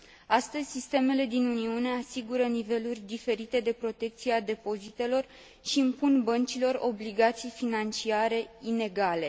Astăzi, sistemele din Uniune asigură niveluri diferite de protecție a depozitelor și impun băncilor obligații financiare inegale.